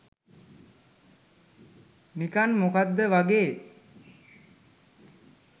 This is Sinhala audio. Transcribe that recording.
නිකං මොකද්ද වගේ.